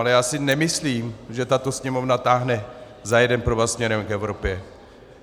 Ale já si nemyslím, že tato Sněmovna táhne za jeden provaz směrem k Evropě.